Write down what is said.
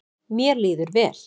Mér líður vel